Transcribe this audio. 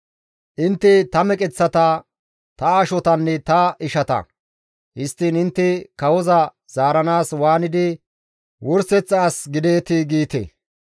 Intte ta meqeththata, ta ashotanne ta ishata; histtiin intte kawoza zaaranaas waanidi wurseththa as gideetii?› giite.